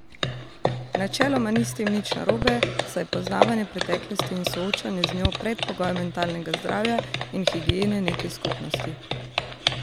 Načeloma ni s tem nič narobe, saj je poznavanje preteklosti in soočanje z njo predpogoj mentalnega zdravja in higiene neke skupnosti.